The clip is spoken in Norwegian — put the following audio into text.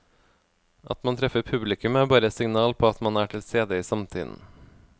At man treffer publikum er bare et signal på at man er tilstede i samtiden.